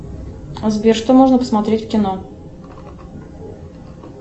сбер что можно посмотреть в кино